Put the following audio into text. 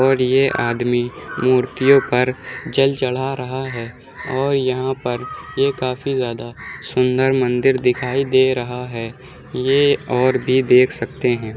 और ये आदमी मूर्तियों पर जल चढ़ा रहा है और यहाँ पर ये काफी ज्यादा सुंदर मंदिर दिखाई दे रहा है ये और भी देख सकते हैं।